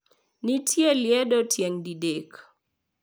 Nitie liedo tieng` didek.